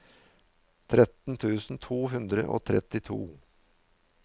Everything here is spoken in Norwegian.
tretten tusen to hundre og trettito